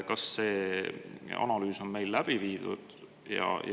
Kas see analüüs on meil läbi viidud?